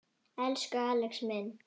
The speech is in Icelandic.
Elsku Axel minn.